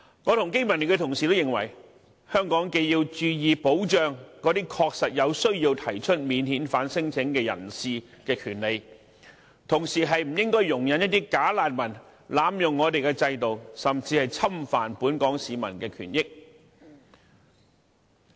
我和經民聯的同事均認為，香港既要注意保障那些確實有需要提出免遣返聲請的人士的權利，同時亦不應容許"假難民"濫用我們的制度，甚至侵犯本港市民的權益。